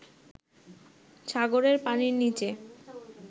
সাগরের পানির নিচে